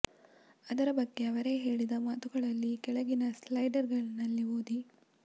ಅದರ ಬಗ್ಗೆ ಅವರೇ ಹೇಳಿದ ಮಾತುಗಳಲ್ಲಿ ಕೆಳಗಿನ ಸ್ಲೈಡರ್ ನಲ್ಲಿ ಓದಿ